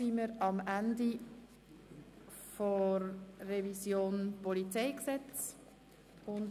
Wir schliessen die Beratung des PolG an dieser Stelle ab.